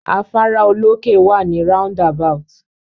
Afárá olókè wà ni roundabout.